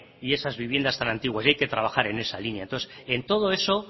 y esas viviendas tan antiguas y hay que trabajar en esa línea en todo eso